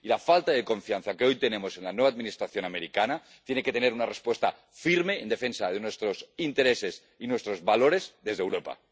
La falta de confianza que hoy tenemos en la nueva Administración estadounidense tiene que tener una respuesta firme en defensa de nuestros intereses y nuestros valores desde Europa.